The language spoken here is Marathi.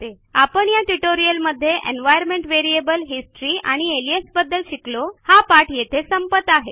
आपण या ट्युटोरियलमध्ये एन्व्हायर्नमेंट व्हेरिएबल हिस्टरी आणि अलियास बद्दल शिकलो हा पाठ येथे संपत आहे